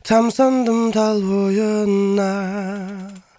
тамсандым тал бойына